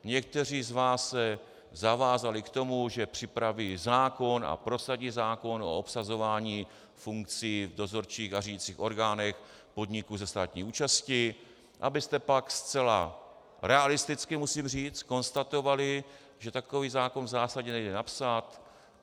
Někteří z vás se zavázali k tomu, že připraví zákon a prosadí zákon o obsazování funkcí v dozorčích a řídicích orgánech podniků se státní účastí, abyste pak zcela realisticky, musím říct, konstatovali, že takový zákon v zásadě nejde napsat.